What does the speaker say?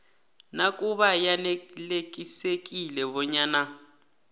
nakube yanelisekile bonyana